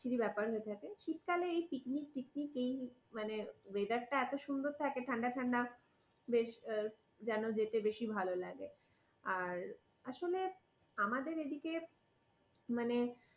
বিচ্ছিরি ব্যাপার হয়ে থাকে। শীতকালে এই picnic, picnic এই weather টা এত সুন্দর থাকে ঠান্ডা ঠান্ডা বেশ যেন যেতে বেশি ভালো লাগে। আর আসলে আমাদের এদিকে মানে